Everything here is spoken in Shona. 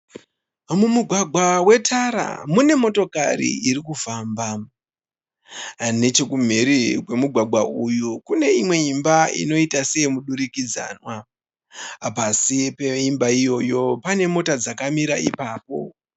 Mumugwagwa wetara mune motokori iri kufamba, nechekumhiri kwemugwagwa uyu kune imwe imba inoiita seye mudirikidzanwa, pasi peimba iyoyo pane mota dzakamira ipapo.